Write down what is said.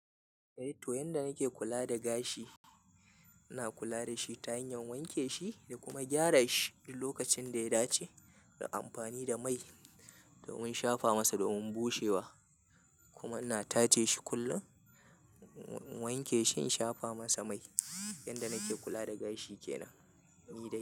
Eh to, yanda nake kula da gashi, ina kula da shi ta hanyar wanke shi, da kuma gyara shi, duk lokacin da ya dace, da amfani da mai domin shafa masa domin bushewa. Kuma na tace shi kullum, wanke shi, shafa masa mai. Yanda nake kula da gashi ke nan, ni dai.